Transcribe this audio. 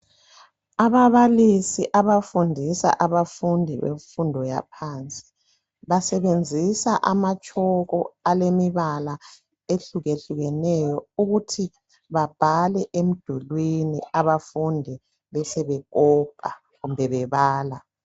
Ababalisi abafundisa abafundi bemfundo yaphansi basebenzisa amatshoko alemibala ehlukahlukeneyo ukuthi babhale emidulwini abafundi besebekopa kumbe bebala.